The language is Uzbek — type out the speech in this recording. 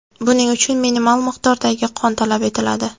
Buning uchun minimal miqdordagi qon talab etiladi.